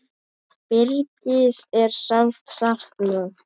Birgis er sárt saknað.